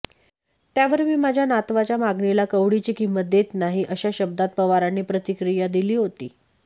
त्यावर मी माझ्या नातवाच्या मागणीला कवडीची किंमत देत नाही अशा शब्दात पवारांनी प्रतिक्रिया दिली होती